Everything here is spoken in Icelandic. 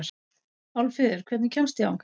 Álfheiður, hvernig kemst ég þangað?